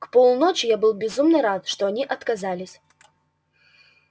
к полуночи я был безумно рад что они отказались